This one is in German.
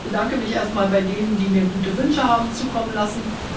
Ich bedanke mich erst mal bei denen, die mir gute Wünsche haben zukommen lassen.